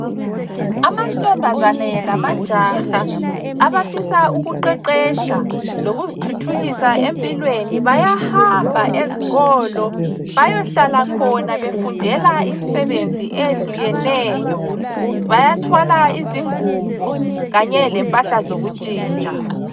Amantombazane lamajaha abafisa ukuqeqetsha lokuzithuthukisa empilweni bayahamba ezikolo bayohlala khona befundela imisebenzi eyehlukeneyo, bayathwala izingubo kanye lempahla zokuntshintsha.